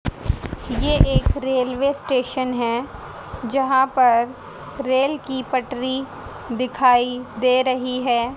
ये एक railway station है जहां पर रेल की पटरी दिखाई दे रही है।